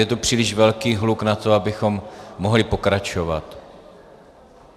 Je tu příliš velký hluk na to, abychom mohli pokračovat.